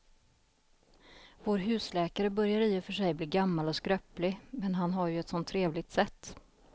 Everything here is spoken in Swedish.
Vår husläkare börjar i och för sig bli gammal och skröplig, men han har ju ett sådant trevligt sätt!